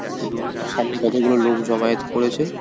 এবং সামনে কতগুলো লোক জমায়েত করেছে ।